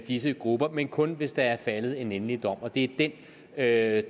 disse grupper men kun hvis der er faldet endelig dom og det er